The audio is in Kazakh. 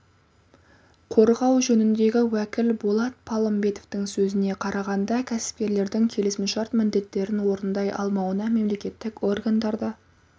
қорғау жөніндегі уәкіл болат палымбетовтың сөзіне қарағанда кәсіпкерлердің келісімшарт міндеттерін орындай алмауына мемлекеттік органдар да